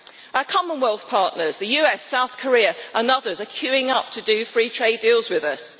Our Commonwealth partners, the US, South Korea and others are queuing up to do free trade deals with us.